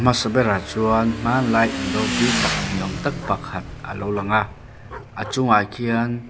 a hmasa berah chuan hmanlai in ropui tak ni awm tak pakhat alo lang a a chungah khian--